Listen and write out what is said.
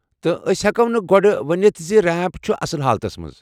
تہٕ أسۍ ہیكوٚ نہٕ گۄڈٕ ؤنتھ ز ریمپ چُھ اصل حالتس منٛز۔